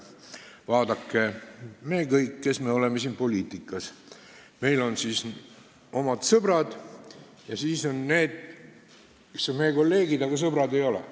Vaadake, meil kõigil, kes me oleme poliitikas, on omad sõbrad ja need, kes on meie kolleegid, aga sõbrad ei ole.